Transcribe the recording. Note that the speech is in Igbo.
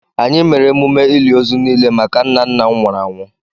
Anyị mere emume ili ozu niile maka nna nna m nwụrụ anwụ